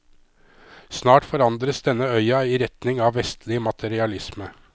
Snart forandres denne øya i retning av vestlig materialisme.